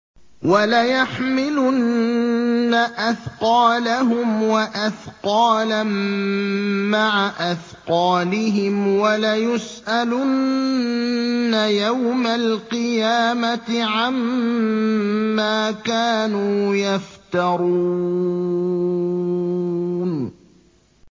وَلَيَحْمِلُنَّ أَثْقَالَهُمْ وَأَثْقَالًا مَّعَ أَثْقَالِهِمْ ۖ وَلَيُسْأَلُنَّ يَوْمَ الْقِيَامَةِ عَمَّا كَانُوا يَفْتَرُونَ